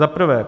Za prvé.